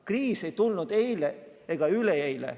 Kriis ei tulnud eile ega üleeile.